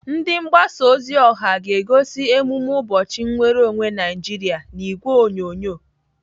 Ndi mgbasa ozi ọha ga-egosi emume ụbọchị nnwereonwe Naijiria n'ìgwè onyonyo.